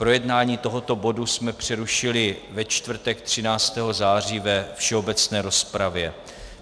Projednávání tohoto bodu jsme přerušili ve čtvrtek 13. září ve všeobecné rozpravě.